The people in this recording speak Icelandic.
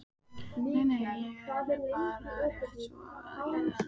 Nei, nei, ég er bara rétt svona að liðka málbeinið.